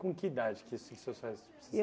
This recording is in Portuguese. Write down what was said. Com que idade que os os seus pais se